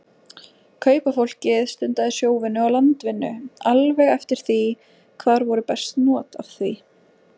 Kaupafólkið stundaði sjóvinnu og landvinnu alveg eftir því hvar voru best not af því.